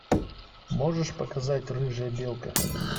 можешь показать рыжая белка